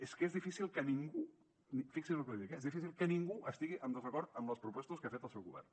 és que és difícil que ningú fixi’s lo que li dic eh és difícil que ningú estigui en desacord amb les propostes que ha fet el seu govern